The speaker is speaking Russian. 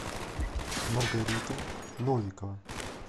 маргарита новикова